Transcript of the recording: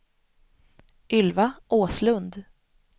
Ylva Åslund